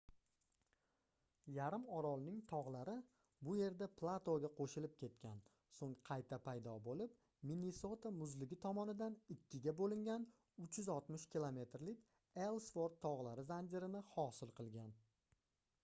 yarim orolning togʻlari bu yerda platoga qoʻshilib ketgan soʻng qayta paydo boʻlib minnesota muzligi tomonidan ikkiga boʻlingan 360 km lik ellsvort togʻlari zanjirini hosil qilgan